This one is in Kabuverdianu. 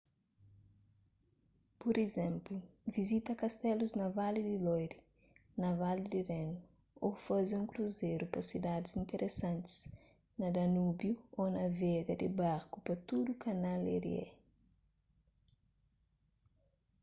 pur izénplu vizita kastelus na vali di loire na vali di renu ô faze un kruzeru pa sidadis interesantis na danúbiu ô navega di barku pa tudu kanal erie